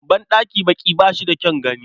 Banɗakin baƙi ba shi da kyan gani.